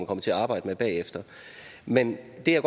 kommer til at arbejde med bagefter men jeg